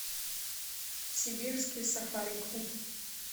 сибирский сафари клуб